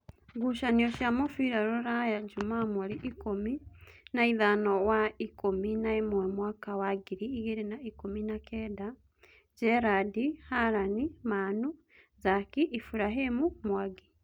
Ngucanio cia mũbira Ruraya Jumaa mweri ikũmi naithano wa ikũmi naĩmwe mwaka wa ngiri igĩrĩ na ikũmi na kenda: Njerandi, Halani, Manu, Zaki, Iburahĩmi, Mwangi